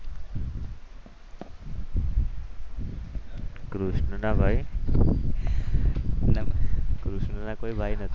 કૃષ્ણના ભાઈ કૃષ્ણના કોઈ ભાઈ ન હતા.